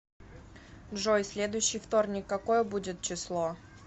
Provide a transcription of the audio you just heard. джой следующий вторник какое будет число